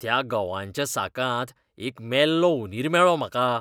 त्या गंवाच्या साकांत एक मेल्लो उंदीर मेळ्ळो म्हाका.